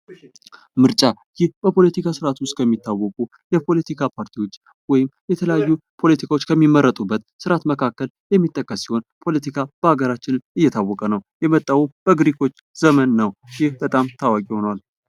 ምርጫ ይህ በፖለቲካ ስርአት ውስጥ ከሚታወቁ የፖለቲካ ፓርቲዎች ወይም የተለያዩ ፖለቲካዎች ከሚመረጡበት ስርዓት መካከል የሚጠቀስ ሲሆን ፖለቲካ በሀገራችን የታወቀ ነው። የመጣውም በግሪኮች ዘመን ነው ይህ በጣም ታዋቂ ነው።